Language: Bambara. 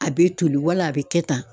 A bɛ toli wala a bɛ kɛ tan.